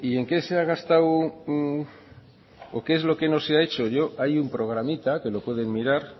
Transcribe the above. en qué se ha gastado o qué es lo que no se ha hecho hay un programita que lo puede mirar